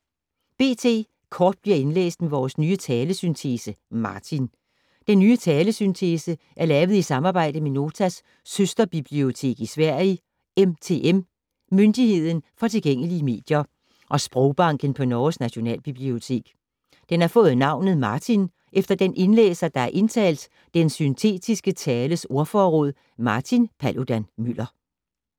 B.T. Kort bliver indlæst med vores nye talesyntese, Martin. Den nye syntetiske tale er lavet i samarbejde med Notas søsterbibliotek i Sverige, MTM - Myndigheden for tilgængelige medier, og Sprogbanken på Norges Nationalbibliotek. Den har fået navnet Martin efter den indlæser, der har indtalt den syntetiske tales ordforråd, Martin Paludan-Müller.